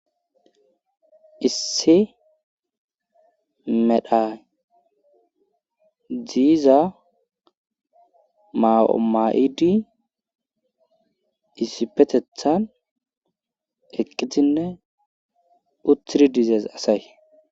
issi medha ziiza ma7oma7idi issipetethan eqqizinne uthiri dizees asay